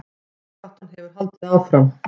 Baráttan hefur haldið áfram